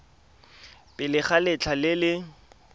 pele ga letlha le le